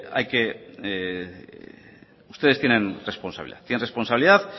ustedes tienen responsabilidad tienen responsabilidad